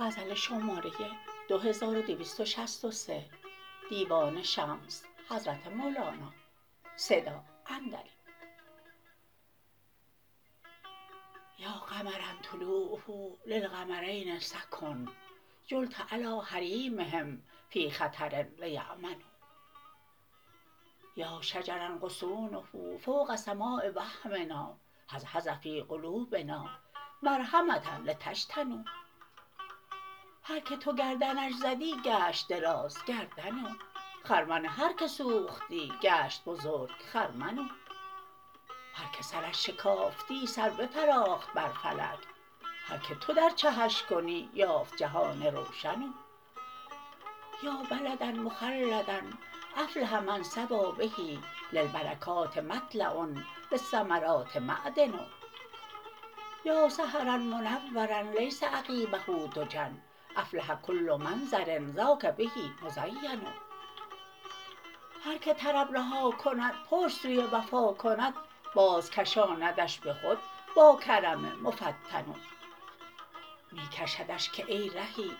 یا قمرا لوعه للقمرین سکن حلت علی حریمهم فی خطر لیمنوا یا شجرا غصونه فوق سماء وهمنا هز هز فی قلوبنا مرحمه لنجتنوا هر کی تو گردنش زدی گشت درازگردن او خرمن هر کی سوختی گشت بزرگ خرمن او هر کی سرش شکافتی سر بفراخت بر فلک هر کی تو در چهش کنی یافت جهان روشن او یا بلدا مخلدا افلح من ثوی به للبرکات مطلع للثمرات معدن یا سحرا منورا لیس عقیبه دجی افلح کل منظر ذاک به مزین هر کی طرب رها کند پشت سوی وفا کند بازکشاندش به خود با کرم مفتن او می کشدش که ای رهی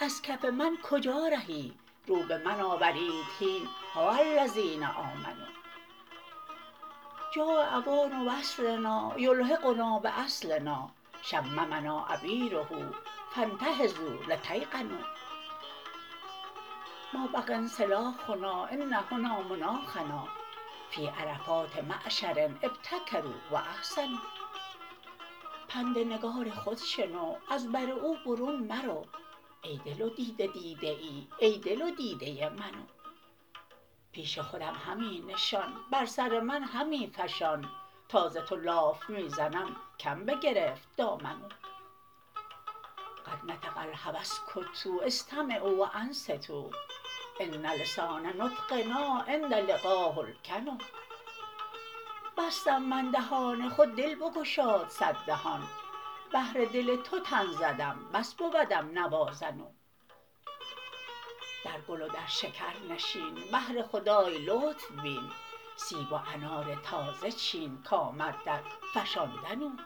از کف من کجا رهی رو به من آورید هین ها الذین آمنوا جاء اوان وصلنا یلحقنا باصلنا شممنا عبیره فانتهضوا لتیقنوا ما بقی انسلاخنا ان هنا مناخنا فی عرفات معشر ابتکروا و احسنوا پند نگار خود شنو از بر او برون مرو ای دل و دیده دیده ای ای دل و دیده من او پیش خودم همی نشان بر سر من همی فشان تا ز تو لاف می زنم کم بگرفت دامن او قد نطق الهوی اسکتوا استمعوا و انصتوا ان لسان نطقنا عند لقاه الکن بستم من دهان خود دل بگشاد صد دهان بهر دل تو تن زدم بس بودم نوازن او در گل و در شکر نشین بهر خدای لطف بین سیب و انار تازه چین کمد در فشاندن او